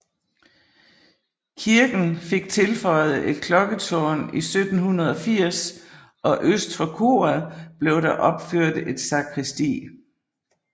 Kirken fik tilføjet et klokketårn i 1780 og øst for koret blev der opført et sakristi